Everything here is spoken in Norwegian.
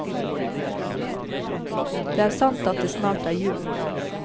Det er sant at det snart er jul.